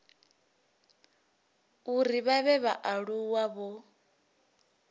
uri vha vhe vhaaluwa vho